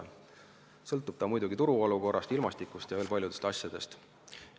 See sõltub muidugi turu olukorrast, ilmastikust ja veel paljudest asjadest.